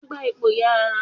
Bẹẹni, Èmí yóò rá ábèbè náà